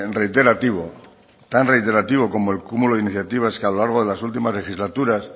reiterativo tan reiterativo como el cúmulo de iniciativas que a lo largo de las últimas legislaturas